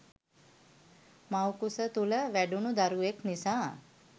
මව්කුස තුළ වැඩුණු දරුවෙක් නිසා